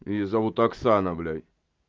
её зовут оксана блять